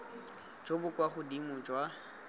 jo bo kwa godimo jwa